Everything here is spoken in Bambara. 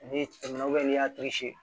N'i tɛmɛna n'i y'a